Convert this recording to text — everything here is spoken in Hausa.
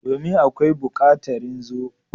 Domin!akawi bukatarin zo.